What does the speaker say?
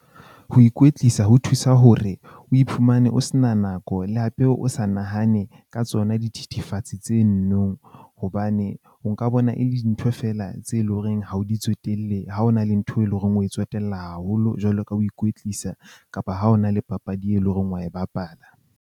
Ho ikwetlisa ho thusa hore o iphumane o se na nako le hape o sa nahane ka tsona dithethefatsi tse nno, hobane o nka bona e le dintho feela tse leng hore ha o di tsotelle, ha o na le ntho e leng hore o tsotella haholo jwalo ka ho ikwetlisa kapa ha o na le papadi e leng horeng wa e bapala.